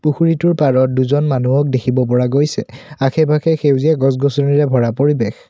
পুখুৰীটোৰ পাৰত দুজন মানুহক দেখিব পৰা গৈছে আশে পাশে সেউজীয়া গছ গছনিৰে ভৰা পৰিৱেশ।